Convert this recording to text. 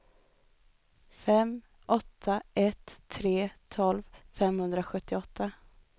fem åtta ett tre tolv femhundrasjuttioåtta